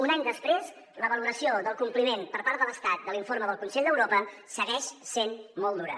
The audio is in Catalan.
un any després la valoració del compliment per part de l’estat de l’informe del consell d’europa segueix sent molt dura